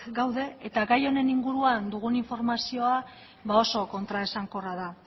gaude eta gai honen inguruan dugun informazioa oso kontraesankorra da